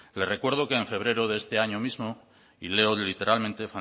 le recuerdo que en febrero de este año mismo y leo literalmente el